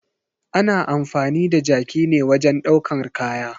Ana amfani da jaki ne wajen ɗaukar kaya.